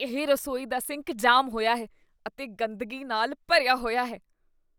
ਇਹ ਰਸੋਈ ਦਾ ਸਿੰਕ ਜਾਮ ਹੋਇਆ ਹੈ ਅਤੇ ਗੰਦਗੀ ਨਾਲ ਭਰਿਆ ਹੋਇਆ ਹੈ।